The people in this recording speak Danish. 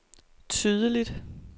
tydeligt